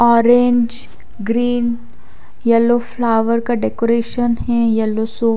orange green yellow flower का decoration है yellow सो--